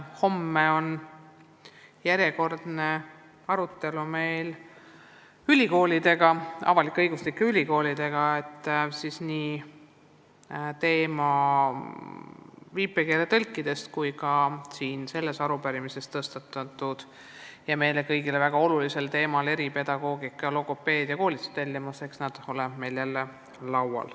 Homme on meil järjekordne arutelu avalik-õiguslike ülikoolidega, kus on jutuks nii viipekeeletõlkide koolitamine kui ka selles arupärimises tõstatatud meile kõigile väga oluline küsimus eripedagoogika ja logopeedia koolitustellimuse kohta.